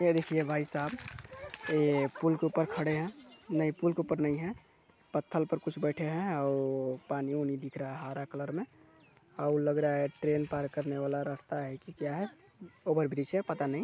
ये देखिये भाई साहब ये पुल के ऊपर खड़े है नहीं पुल के ऊपर नहीं है पत्थल पर कुछ बैठे है अउ पानी-उनी दिख रहा है हरा कलर मे अउ लग रहा है ट्रेन पार करने वाला रास्ता है की क्या है ओवरब्रिज है पता नहीं--